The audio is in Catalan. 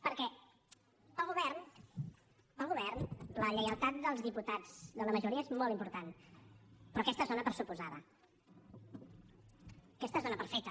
perquè per al govern per al govern la lleialtat dels diputats de la majoria és molt important però aquesta es dóna per suposada aquesta es dóna per feta